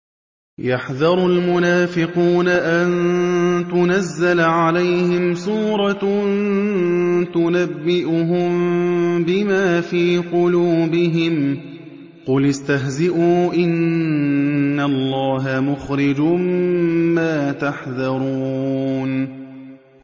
يَحْذَرُ الْمُنَافِقُونَ أَن تُنَزَّلَ عَلَيْهِمْ سُورَةٌ تُنَبِّئُهُم بِمَا فِي قُلُوبِهِمْ ۚ قُلِ اسْتَهْزِئُوا إِنَّ اللَّهَ مُخْرِجٌ مَّا تَحْذَرُونَ